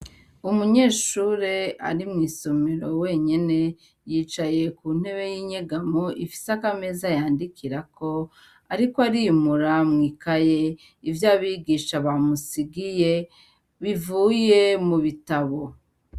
Umunyeshure ari mw'isomero wenyene, yicaye ku ntebe y'inyegamo ifisako ameza yandikirako, ariko arimura mw'ikaye ivyo abigisha bamusigiye bivuye mu bitabo.